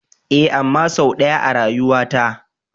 Ee. amma sau ɗaya a rayuwata.